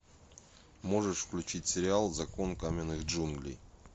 можешь включить сериал закон каменных джунглей